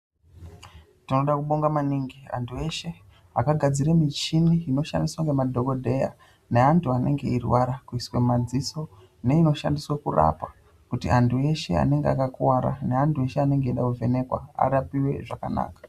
Todaa kubonga maningi antu eshe akagadzira michini inoshandiswa ngemadhokodheya neantu anenge eirwara kuiswa mumaziso neinoshandiswa kurapa kuti antu eshe anenge akakuwara neantu eshe anenge eida kuvhenekwa arapiwe zvakanaka.